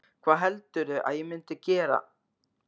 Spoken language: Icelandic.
Hvað heldurðu að ég myndi gera?